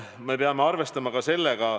Me peame arvestama ka oma töötutega.